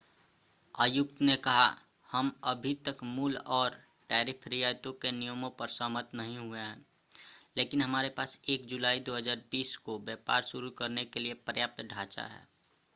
आयुक्त ने कहा हम अभी तक मूल और टैरिफ रियायतों के नियमों पर सहमत नहीं हुए हैं लेकिन हमारे पास 1 जुलाई 2020 को व्यापार शुरू करने के लिए पर्याप्त ढांचा है